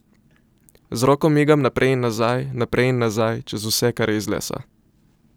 Z roko migam naprej in nazaj, naprej in nazaj čez vse, kar je iz lesa.